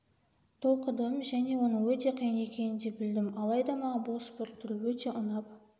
толқыдым және оның өте қиын екенін де білдім алайда маған бұл спорт түрі өте ұнап